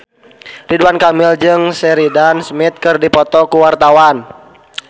Ridwan Kamil jeung Sheridan Smith keur dipoto ku wartawan